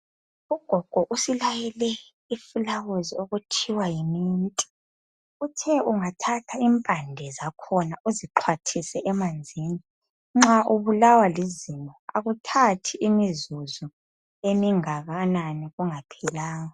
ugog usilayele iflawuzi okuthiwa yi mint uthe ungathatha impande zakhona uzixwathise emanzini nxa ubulawa lizinyo akuthathi imzuzu emingakanani kungaphelanga